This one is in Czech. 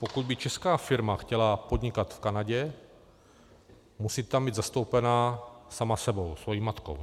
Pokud by česká firma chtěla podnikat v Kanadě, musí tam být zastoupena sama sebou, svojí matkou.